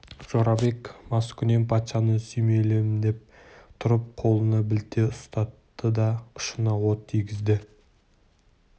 жорабек маскүнем патшаны сүйемелдеп тұрып қолына білте ұстатты да ұшына от тигізді